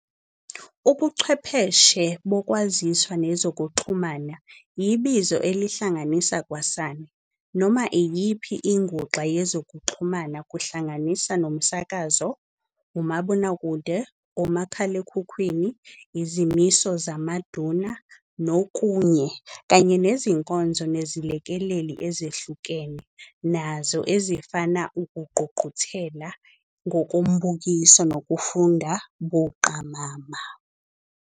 Ubuchwepheshe boKwaziswa nezokuxhumana yibizo elihlanganisa kwasani, noma iyiphi inguxa yezokuxhumana, kuhlanganisa nomsakazo, umabonakude, omakhalekhukhwini, izimiso zamaduna nokunye, kanye nezinkonzo nezilekeleli ezihlukene zazo ezifana ukungqungquthela ngombukiso nokufunda buqamama.